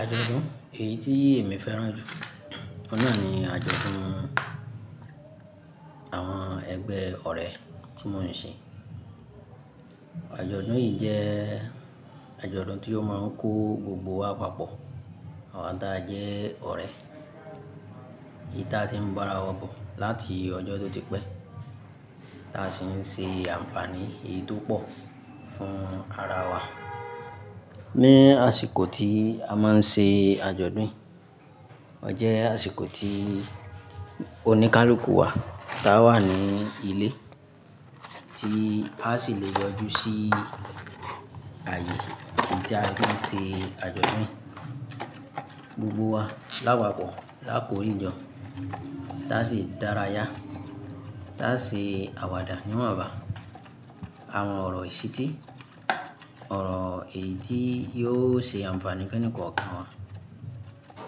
Àjọ̀dún èyí tí èmi fẹ́ràn jù ọ́n náà ni àjọ̀dún àwọn ẹgbẹ́ ọ̀rẹ́ tí mò ń ṣe. Àjọ̀dún yìí jẹ́ àjọ̀dún tí ó máa ń kó gbogbo wa papọ̀, àwọn tí a jẹ́ ọ̀rẹ́. Èyí tí a ti ń bára wa bọ̀ láti ọjọ́ tó ti pẹ́, tí a sì ń ṣe àǹfààní èyí tó pọ̀ fún ara wa. Ní àsìkò tí a máa ń ṣe àjọ̀dún yìí, ọ jẹ́ àsìkò tí oníkálukú wà, tá a wà ní ilé, tí a sì le yọjú sí ààyè èyí tí a fi ń ṣe àjọ̀dún yìí gbogbo wa lápapọ̀ lákòó rìnjo. Tá ṣe dára yá, tá ṣe àwàdà níwààbá, àwọn ọ̀rọ̀ ìṣítí, ọ̀rọ̀ èyí tí yóò ṣe àǹfààní fẹ́nìkọ̀ọ̀kan wa